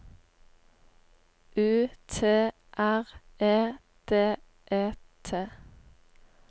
U T R E D E T